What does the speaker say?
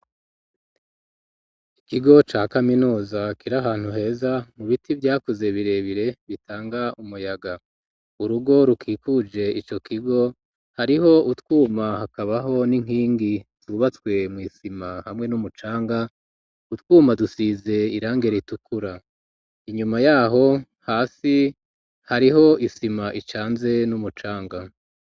Ikigo ca kaminuza kiri ahantu heza mu biti vyakuze birebire bitanga umuyaga urugo rukikuje ico kigo hariho utwuma hakabaho n'inkingi zubatswe mw'isima hamwe n'umucanga utwuma dusize irangi ritukura inyuma yaho hasi hariho isima icanze n'umucanga